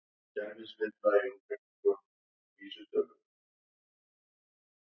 Þau grófu alla nóttina, tvö hérna megin og eitt hinum megin, við Breiðafjörðinn.